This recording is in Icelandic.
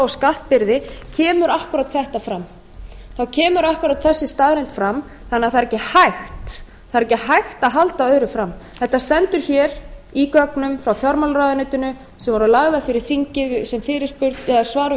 skattbyrði kemur akkúrat þetta fram þá kemur akkúrat þessi staðreynd fram þannig að það er ekki hægt að halda öðru fram þetta stendur hér í gögnum frá fjármálaráðuneytinu sem voru lögð fyrir þingið sem svar